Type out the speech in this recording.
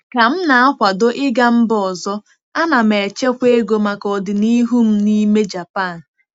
Ka m na-akwado ịga mba ọzọ, ana m echekwa ego maka ọdịnihu m n'ime Japan.